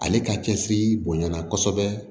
Ale ka cɛsiri bonyana kosɛbɛ